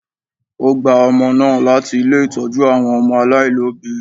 O gba ọmọ náà láti ilé Ìtọ́jú àwọn ọmọ aláìlóbìí.